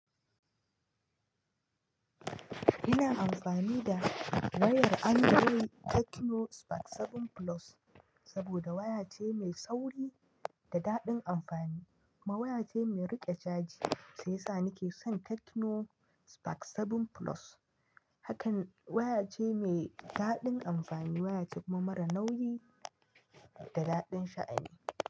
Ina amfani da wayar Android Tecno Spark 7 Plus saboda waya ce mai sauri da daɗin amfani. Kuma waya ce mai riƙe chaji shi yasa na ke son Tecno Spark 7 Plus. Hakan waya ce mai daɗin amfani, waya ce kuma mara nauyi da daɗin sha'ani.